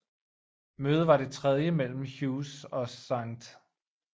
Mødet var det tredje mellen Hughes og St